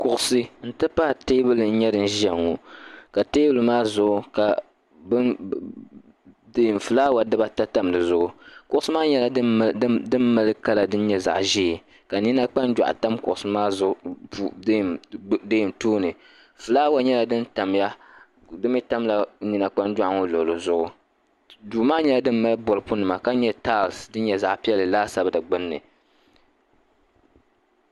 Kuɣusi n ti pahi tɛɛbuli n yɛ din ziya ŋɔ ka tɛɛbuli maa zuɣu ka flawa diba ata tam di zuɣu kuɣusi maa nyɛla dini mali kala din nyɛ zaɣi ʒee ka nina kpanjɔɣu tam kuɣusi maa tooni flawa yɛla din tam ya di mi tamila nina kpanjɔɣu ŋɔ luɣili zuɣu duu maa yɛla din mali bolipu nima ka mali tals din yɛ zaɣi piɛlli laasabu di gbunni.